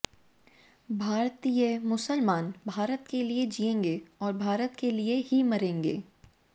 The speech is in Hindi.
भारतीय मुसलमान भारत के लिए जिएंगे और भारत के लिए ही मरेंगे